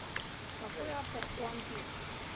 какой автор у ампир